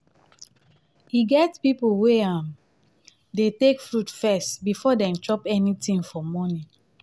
e get pipo wey um dey take fruit first before dem chop anything for morning